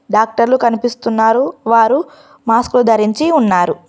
డాక్టర్లు కనిపిస్తున్నారు వారు మాస్కో ధరించి ఉన్నారు.